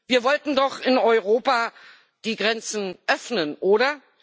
Wir wollten doch in Europa die Grenzen öffnen, oder?